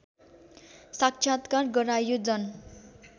साक्षात्कार गराइयो जन